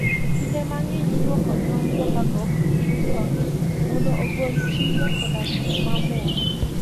Kinde mang'eny, ilwoko tong'go kapok iusogi mondo ogol chilo koda gik mamoko.